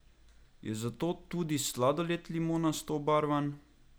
Je zato tudi sladoled limonasto obarvan?